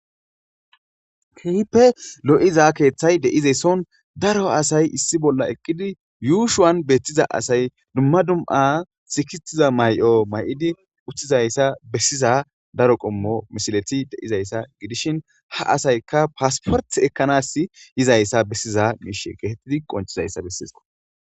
kehipe lo'za kethay deizeessoon daro asay issi bolla eqqidi yuushuwan beettiza asay dumma dum'a sikitiza may7o may7idi uttizayssa bessiza daro qommo mishileti deizayssa gidishin ha asaykka paasporti ekkanas yizayssa bessiza miishe geetettidi qonchizayssa besseesko.